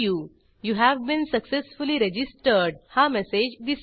you have been successfully registered हा message दिसेल